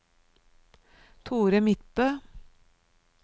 Thore Midtbø